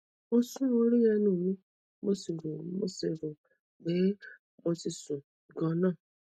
mo sun orí ẹnu mi mo sì rò sì rò pé mo ti sun ún ganan